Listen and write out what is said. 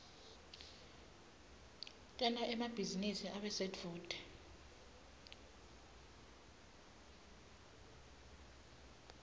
tenta emabhizinisi abe sedvute